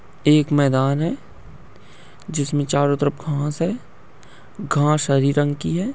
एक मैदान है जिसमे चारो तरफ घास है। घास हरी रंग की है।